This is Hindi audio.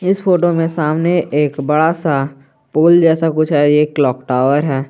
इस फोटो में सामने एक बड़ा सा फूल जैसा कुछ है एक क्लॉक टावर है।